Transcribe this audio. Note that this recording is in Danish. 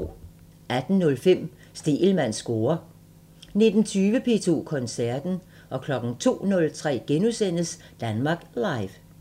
18:05: Stegelmanns score 19:20: P2 Koncerten 02:03: Danmark Live *